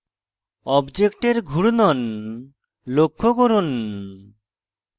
অবজেক্টের ঘূর্ণন লক্ষ্য করুন